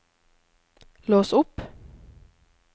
lås opp